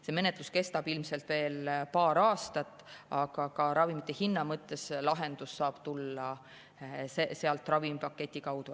See menetlus kestab ilmselt veel paar aastat, aga ka ravimite hinna mõttes lahendus saab tulla sealt ravimipaketi kaudu.